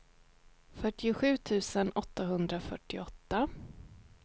fyrtiosju tusen åttahundrafyrtioåtta